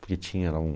Porque tinha lá um...